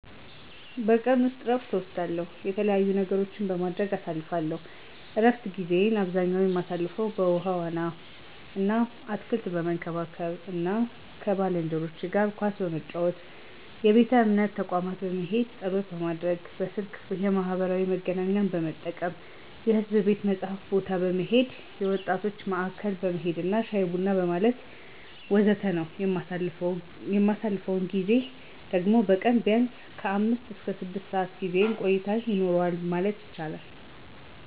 በቀን ውስጥ እረፍት እወስዳለው፥ የተለያዩ ነገሮችን በማድረግ አሳልፍለው። እረፍት ጊዜየን አብዛኛ የማሳልፈው በውሀ ዋና አና አትክልት በመንከባከብ አና ከባልንጄኖቸ ጋር ኳስ በመጫወት፣ የቤተ እምነት ተቋም በመሄድ ፀሎት ማድረግ፣ በስልክ የማህበራዊ መገናኛን በመጠቀም፣ የሕዝብ ቤተ መጽሀፍት ቦታ በመሄድ፣ የወጣቶች ማዕከል በመሄድና ሻይ ቡና በማለት ወዘተ ነው። የማሳልፈው ጊዜ ደግሞ በቀን ቢያንስ ከአምስት እስከ ስድስት ሰዓት የጊዜ ቆይታ ይኖረዋል ማለት ይቻላል።